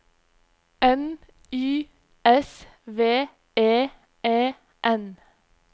N Y S V E E N